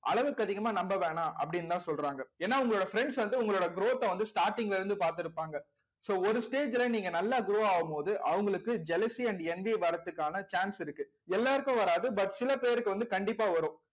அளவுக்கு அதிகமா நம்ப வேணாம் அப்படின்னுதான் சொல்றாங்க ஏன்னா உங்களோட friends வந்து உங்களோட growth அ வந்து starting ல இருந்து பார்த்து இருப்பாங்க so ஒரு stage ல நீங்க நல்லா grow ஆகும்போது அவங்களுக்கு jealousy and வரத்துக்கான chance இருக்கு எல்லாருக்கும் வராது but சில பேருக்கு வந்து கண்டிப்பா வரும்